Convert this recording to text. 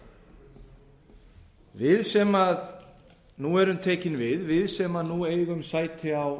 staðreynd við sem nú erum tekin við við sem nú eigum sæti á